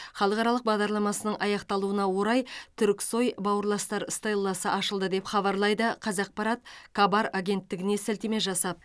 халықаралық бағдарламасының аяқталуына орай түрксой бауырластар стелласы ашылды деп хабарлайды қазақпарат кабар агенттігіне сілтеме жасап